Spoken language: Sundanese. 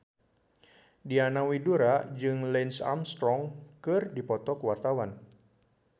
Diana Widoera jeung Lance Armstrong keur dipoto ku wartawan